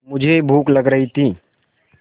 मुझे भूख लग रही थी